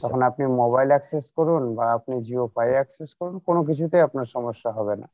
তখন আপনি mobile access করুন বা আপনি Jiofi access করুন কোনো কিছুতে আপনার সমস্যা হবে না